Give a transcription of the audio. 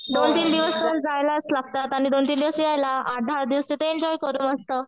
दोन तीन दिवस तर जायलाच लागतात आणि दोन तीन दिवस यायला. आठ दहा दिवस तिथं एन्जॉय करू मस्त.